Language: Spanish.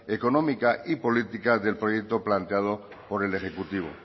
económica y política del proyecto planteado por el ejecutivo